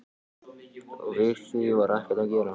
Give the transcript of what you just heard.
Og við því var ekkert að gera.